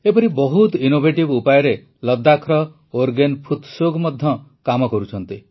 ଏପରି ବହୁତ ଇନୋଭେଟିଭ୍ ଉପାୟରେ ଲଦ୍ଦାଖର ଓରଗେନ ଫୁତ୍ସୌଗ୍ ମଧ୍ୟ କାମ କରୁଛନ୍ତି